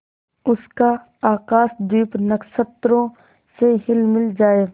उसका आकाशदीप नक्षत्रों से हिलमिल जाए